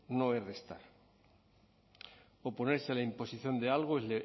no es restar oponerse a la imposición de algo es